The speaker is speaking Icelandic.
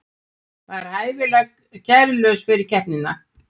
Var hæfilega kærulaus fyrir keppnina